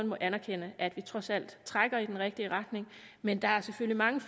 må anerkende at vi trods alt trækker i den rigtige retning men der er selvfølgelig mange